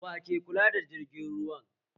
Wa ke kula da jirgin ruwan?